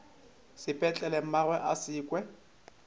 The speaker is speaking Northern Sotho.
sepetlele mmagwe a se kwe